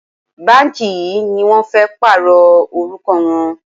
Báǹkì yìí ni wọ́n fẹ́ pààrọ̀ orúkọ wọn.